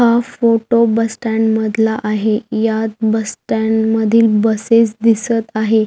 हा photo bus stand मधला आहे यात बस स्टँड मधील बसेस दिसत आहे.